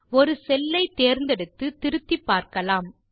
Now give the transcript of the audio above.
ஒரு செல்லை தேர்ந்தெடுத்து திருத்திப்பார்க்கலாம்